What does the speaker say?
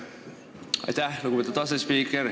Aitäh, lugupeetud asespiiker!